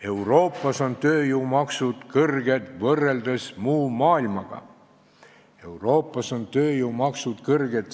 Euroopas on tööjõumaksud kõrged võrreldes muu maailmaga.